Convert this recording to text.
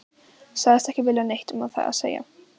Sagðist ekki vilja neitt um það segja.